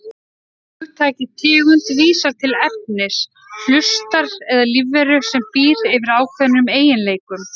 Hugtakið tegund vísar til efnis, hlutar eða lífveru sem býr yfir ákveðnum eiginleikum.